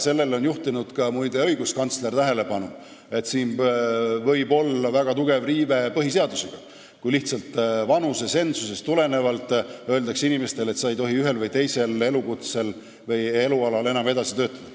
Sellele on juhtinud tähelepanu ka, muide, õiguskantsler, et siin võib olla väga tugev riive põhiseadusega, kui lihtsalt vanusetsensusest tulenevalt öeldakse inimesele, et sa ei tohi ühel või teisel elualal enam edasi töötada.